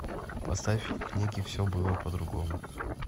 поставь в книге все было по другому